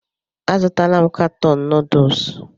A zụtala m katọn nuduls.